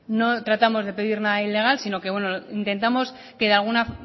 no tratamos de pedir nada ilegal sino que intentamos que de alguna